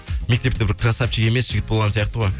мектепте бір красавчик емес жігіт болған сияқты ғой